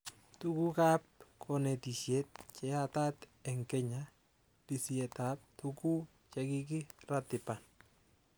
Tugukab konetishet cheyatat eng Kenya:Lisietab tuguk chekikiratiban